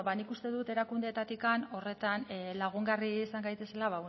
bueno nik uste dut erakundeetatik horretan lagungarri izan gaitezela